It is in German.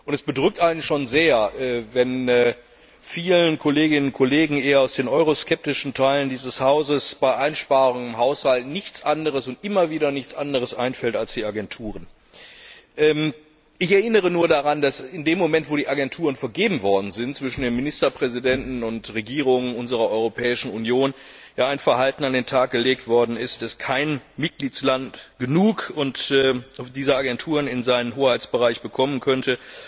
Es bedrückt einen schon sehr, wenn vielen Kolleginnen und Kollegen aus den euroskeptischen Teilen dieses Hauses bei Einsparungen im Haushalt nichts anderes und immer wieder nichts anderes einfällt als die Agenturen. Ich erinnere nur daran, dass in dem Moment, in dem die Agenturen vergeben worden sind, von den Ministerpräsidenten und Regierungen unserer Europäischen Union ein Verhalten an den Tag gelegt worden ist, als ob kein Mitgliedstaat genug dieser Agenturen in seinen Hoheitsbereich bekommen könnte.